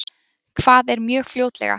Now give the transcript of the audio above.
Hvað er mjög fljótlega?